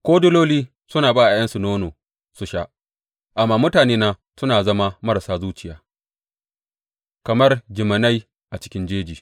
Ko diloli suna ba ’ya’yansu nono su sha, amma mutanena sun zama marasa zuciya kamar jiminai a cikin jeji.